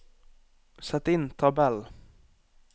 Sett inn tabell